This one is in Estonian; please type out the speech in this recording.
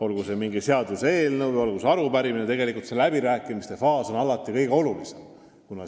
olgu tegu kas mingi seaduseelnõu või arupärimisega, läbirääkimiste voor on alati kõige olulisem.